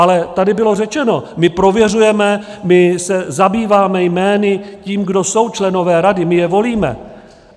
Ale tady bylo řečeno, my prověřujeme, my se zabýváme jmény, tím, kdo jsou členové rady, my je volíme.